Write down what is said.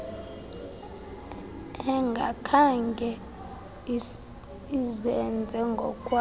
engakhange izenze ngokwalo